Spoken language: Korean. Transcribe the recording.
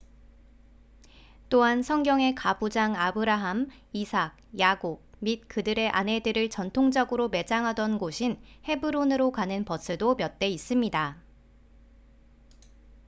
또한 성경의 가부장 아브라함 이삭 야곱 및 그들의 아내들을 전통적으로 매장하던 곳인 헤브론으로 가는 버스도 몇 대 있습니다